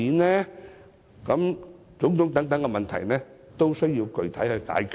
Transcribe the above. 凡此種種的問題，均需要具體解決。